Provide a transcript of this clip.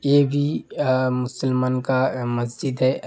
ये भी आ मुसलमान का मस्जिद है।